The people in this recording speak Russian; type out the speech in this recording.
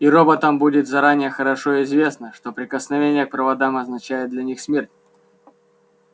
и роботам будет заранее хорошо известно что прикосновение к проводам означает для них смерть